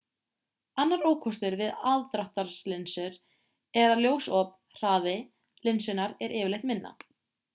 annar ókostur við aðdráttarlinsur er að ljósop hraði linsunnar er yfirleitt minna